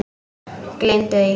Gleymdu því!